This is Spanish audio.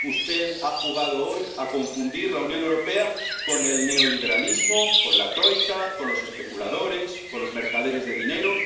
Usted ha jugado hoy a confundir la Unión Europea con el neoliberalismo, con la troika, con los especuladores, con los mercaderes de dinero.